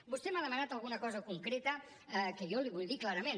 vostè m’ha demanat alguna cosa concreta que jo li vull dir clarament